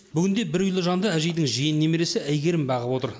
бүгінде бір үйлі жанды әжейдің жиен немересі әйгерім бағып отыр